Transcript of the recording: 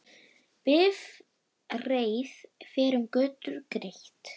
Bifreið fer um götur greitt.